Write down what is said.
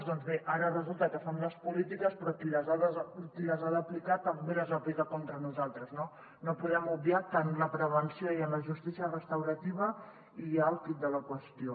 doncs bé ara resulta que fem les polítiques però qui les ha d’aplicar també les aplica contra nosaltres no no podem obviar que en la prevenció i en la justícia restaurativa hi ha el quid de la qüestió